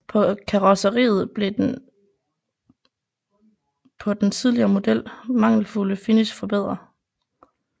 På karrosseriet blev den på den tidligere model mangelfulde finish forbedret